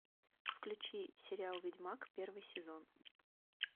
включи сериал ведьмак первый сезон